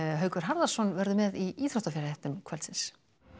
Haukur Harðarson verður með í íþróttafréttum kvöldsins